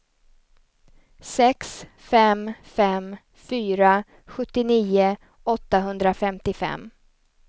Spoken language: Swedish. sex fem fem fyra sjuttionio åttahundrafemtiofem